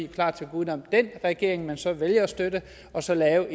klar til at gå uden om den regering man så vælger at støtte og så lave